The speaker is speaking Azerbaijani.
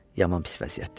Yaman pis vəziyyətdir.